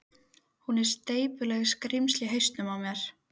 Hún er slepjulegt skrímsli í hausnum á mér.